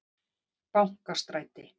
Bankastræti